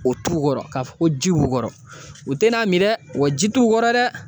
O t'u kɔrɔ ka fɔ ko ji b'u kɔrɔ o te n'a mi dɛ wa ji t'u kɔrɔ dɛ